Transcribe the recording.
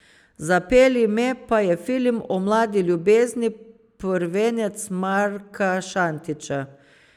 Zapelji me, pa je film o mladi ljubezni, prvenec Marka Šantića.